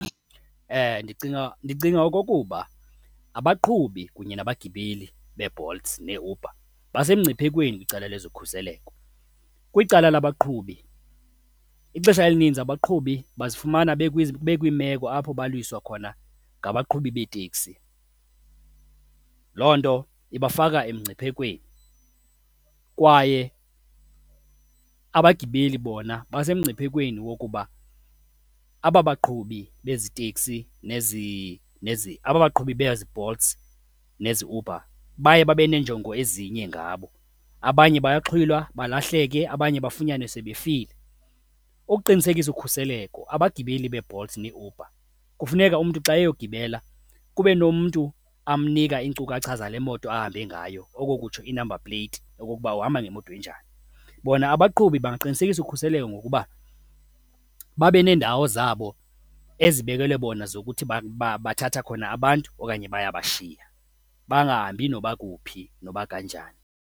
Ndicinga, ndicinga okokuba abaqhubi kunye nabagibeli beeBolt neeUber basemngciphekweni kwicala lwezokhuseleko. Kwicala labaqhubi ixesha elininzi abaqhubi bazifumana bekwiimeko apho balwiswa khona ngabaqhubi beetekisi, loo nto ibafaka emngciphekweni. Kwaye abagibeli bona basemngciphekweni wokuba aba baqhubi bezi teksi nezi nezi, aba baqhubi beziBolts neziUber baye babe neenjongo ezinye ngabo, abanye bayaxhwilwa balahleke, abanye bafunyanwe sebefile. Ukuqinisekisa ukhuseleko, abagibeli beeBolts neeUber kufuneka umntu xa eyogqibela kube nomntu amnika iinkcukacha zale moto ahambe ngayo, oko kutsho i-number plate, okokuba uhamba ngemoto enjani. Bona abaqhubi baqinisekisa ukhuseleko ngokuba babe neendawo zabo ezibekelwe bona zokuthi babathatha khona abantu okanye bayabashiya, bangahambi noba kuphi noba kanjani.